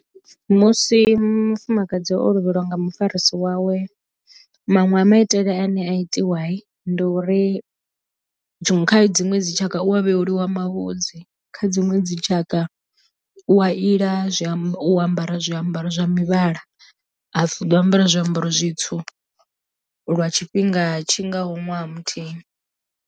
Musi mufumakadzi o lovheliwa nga mufarisi wawe maṅwe a maitele ane a itiwa ndi uri tshiṅwe kha dziṅwe dzi tshaka u wa vhevhuliwa mavhudzi kha dziṅwe dzitshaka u a ila zwi amba u ambara zwiambaro zwa mivhala ha pfhi u ḓo ambara zwiambaro zwitswu lwa tshifhinga tshi ngaho ṅwaha muthihi.